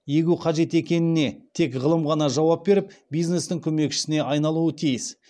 егу қажет екеніне тек ғылым ғана жауап беріп бизнестің көмекшісіне айналуы тиіс